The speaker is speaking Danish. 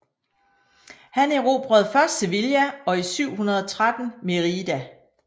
Han erobrede først Sevilla og i 713 Mérida